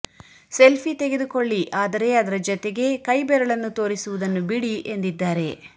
selfie ತೆಗೆದುಕೊಳ್ಳಿ ಆದರೆ ಅದರ ಜತೆಗೆ ಕೈಬೆರಳನ್ನು ತೋರಿಸುವುದನ್ನು ಬಿಡಿ ಎಂದಿದ್ದಾರೆ